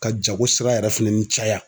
Ka jago sira yɛrɛ fɛnɛ ni caya